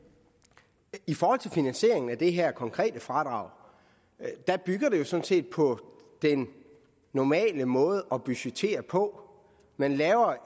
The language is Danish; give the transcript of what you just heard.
i forhold til finansieringen af det her konkrete fradrag bygger det jo sådan set på den normale måde at budgettere på man laver